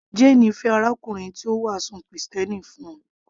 Jane fẹ́ arákùnrin tí ó wàásù krìstẹ́nì fún un